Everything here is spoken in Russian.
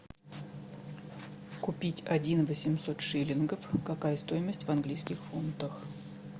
купить один восемьсот шиллингов какая стоимость в английских фунтах